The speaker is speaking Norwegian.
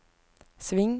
sving